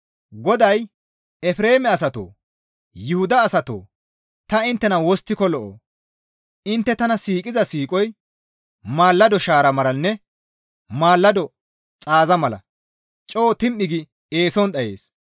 GODAY, «Efreeme asatoo! Yuhuda asatoo! Ta inttena wosttiko lo7oo? Intte tana siiqiza siiqoy maalado shaara malanne maalado xaaza mala coo tim7i gi eeson dhayees.